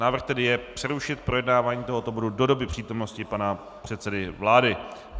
Návrh tedy je přerušit projednávání tohoto bodu do doby přítomnosti pana předsedy vlády.